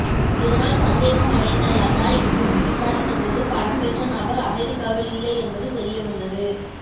இதனால் சந்தேகமடைந்த லதா இது குறித்து விசாரித்தபோது பணம் பெற்ற நபர் அமெரிக்காவில் இல்லை என்பது தெரிய வந்தது